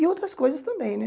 E outras coisas também, né?